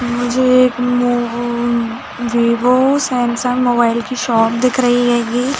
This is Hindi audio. मुझे एक मो अमम वीवो सैमसंग मोबाइल की शॉप दिख रही हैगी।